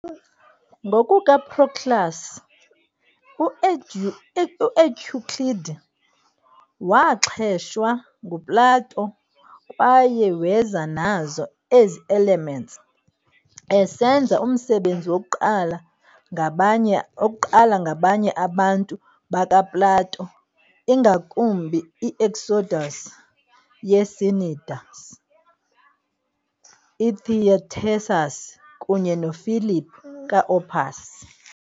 NgokukaProclus, uEuclid "waaxheshwa" nguPlato kwaye weza nazo ezi"Elements", esenza umsebenzi wokuqala ngabanye abantu bakaPlato, ingakumbi iEudoxus yeCnidus, iTheaetetus kunye noPhilip kaOpus.